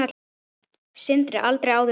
Sindri: Aldrei áður veitt?